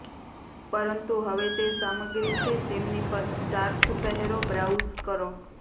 પરંતુ હવે તે સામગ્રી છે તેમની પર સ્ટાર્સ પહેરો બ્રાઉઝ કરો